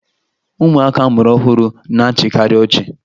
Ụmụaka a mụrụ ọhụrụ na-achịkarị ọchị